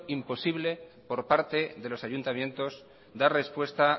imposible por parte de los ayuntamientos dar respuesta